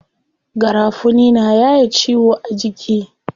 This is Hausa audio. Garafuni na yaye ciwo a jiki.